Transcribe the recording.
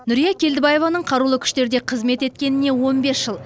нүрия келдібаеваның қарулы күштерде қызмет еткеніне он бес жыл